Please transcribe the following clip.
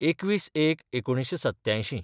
२१/०१/१९८७